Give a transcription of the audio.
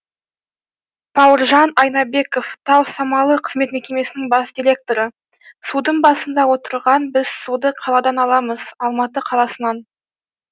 бауыржан айнабеков тау самалы қызмет мекемесінің бас директоры судың басында отырған біз суды қаладан аламыз алматы қаласынан